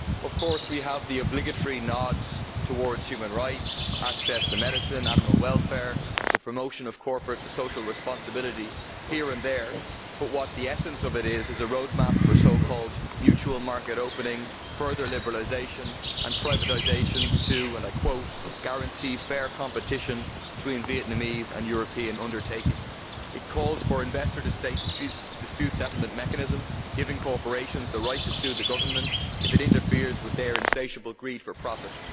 Of course we have the obligatory nods towards human rights, access to medicine, animal welfare and the promotion of corporate social responsibility, here and there, but in essence it is a roadmap for so called mutual market opening, further liberalisation and privatisation for fair conditions of competition to be guaranteed between Vietnamese and European undertakings'. It calls for an investor to state dispute settlement mechanism, giving corporations the right to sue the government if it interferes with their insatiable greed for profit.